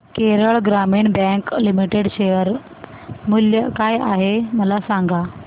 Kerala Gramin Bank Limited share मूल्य काय आहे मला सांगा